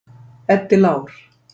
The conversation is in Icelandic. Eddi Lár.